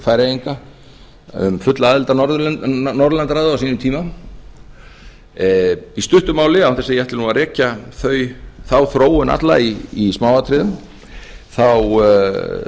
færeyinga að fullri aðild að norðurlandaráði á sínum tíma í stuttu máli án þess að ég ætli nú að rekja þá þróun alla í smáatriðum þá